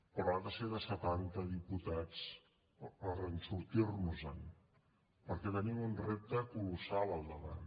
però ha de ser de setanta diputats per a sortir nos en perquè tenim un repte colossal al davant